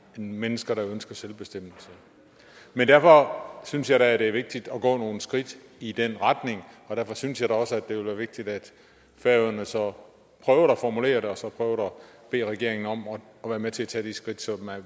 mennesker der ønsker selvbestemmelse men derfor synes jeg da det er vigtigt at gå nogle skridt i den retning og derfor synes jeg også det vil være vigtigt at færøerne så prøver at formulere det og så prøver at bede regeringen om at være med til at tage de skridt så